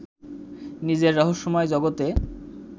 নিজের রহস্যময় জগতে